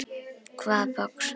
Hvaða box?